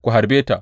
Ku harbe ta!